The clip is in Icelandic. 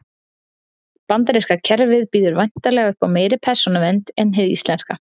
bandaríska kerfið býður væntanlega upp á meiri persónuvernd en hið íslenska